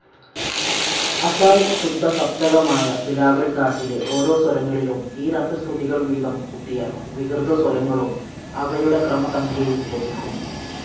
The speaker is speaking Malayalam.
അതായ് ശുദ്ധസപ്തകമായ ബിലാവൽ ധാട്ടിലെ ഓരോ സ്വരങ്ങളിലും ഈ രണ്ടു ശ്രുതികൾ വീതം കൂട്ടിയാൽ വികൃതസ്വരങ്ങളും അവയുടെ ക്രമസംഖ്യയും ലഭിക്കും.